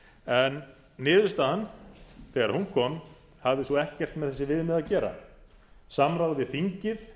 en niðurstaðan þegar hún kom hafði svo ekkert með þessi viðmið að gera samráð við þingið